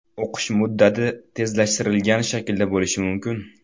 O‘qish muddati tezlashtirilgan shaklda bo‘lishi mumkin.